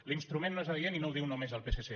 l’instrument no és adient i no ho diu només el psc